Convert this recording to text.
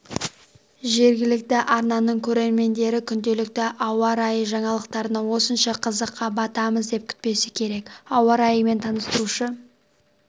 жергілікті арнаның көрермендері күнделікті ауа райы жаңалықтарынан осынша қызыққа батамыз деп күтпесе керек ауа райымен таныстырушы